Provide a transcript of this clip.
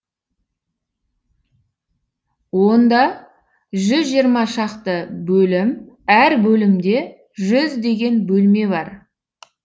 онда жүз жиырма шақты бөлім әр бөлімде жүздеген бөлме бар